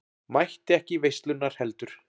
Mætti ekki í veislurnar heldur.